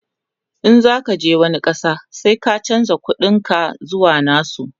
in zaka je wani ƙasa sai ka chanza ƙuɗin ka zuwa nasu